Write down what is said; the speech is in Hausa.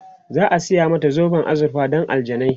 za'a saya mata zoben azurfa Dan aljanai